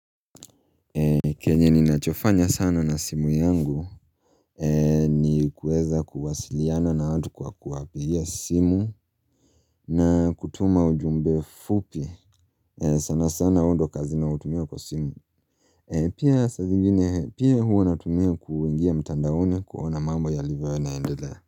Kenye ninachofanya sana na simu yangu Nikuweza kuwasiliana na watu kwa kuwapigia simu na kutuma ujumbe fupi sana sana hiyo ndio kazi nautumio kwa simu Pia saa zingine pia huwa natumia kuingia mtandaoni kuona mambo yalivyo yanaendela.